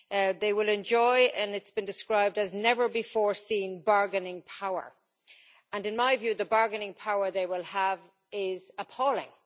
They will enjoy and it is been described as never before seen bargaining power, and in my view the bargaining power they will have is appalling.